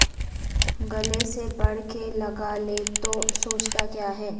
گلے سے بڑھ کے لگا لے تو سوچتا کیا ہے